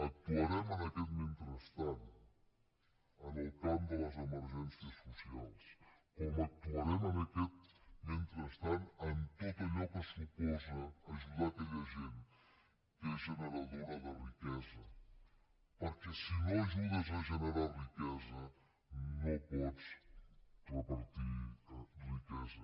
actuarem en aquest mentrestant en el camp de les emergències socials com actuarem en aquest mentrestant en tot allò que suposa ajudar aquella gent que és generadora de riquesa perquè si no ajudes a generar riquesa no pots repartir riquesa